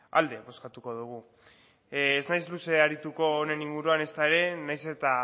alde bozkatuko dugu ez naiz luze arituko honen inguruan ezta ere nahiz eta